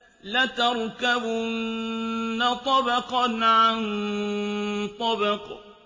لَتَرْكَبُنَّ طَبَقًا عَن طَبَقٍ